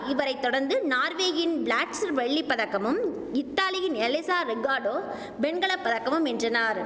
இவரை தொடர்ந்து நார்வேயின் பிளாட்சர் வெள்ளி பதக்கமும் இத்தாலியின் எலிசா ரிகாடோ வெண்கல பதக்கமும் வென்றனார்